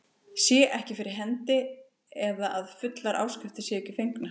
sé ekki fyrir hendi eða að fullar áskriftir séu ekki fengnar.